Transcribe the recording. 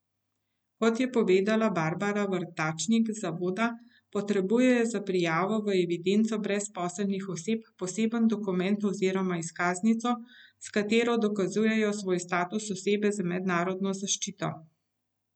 Kot je povedala Barbara Vrtačnik z zavoda, potrebujejo za prijavo v evidenco brezposelnih oseb poseben dokument oziroma izkaznico, s katero dokazujejo svoj status osebe z mednarodno zaščito.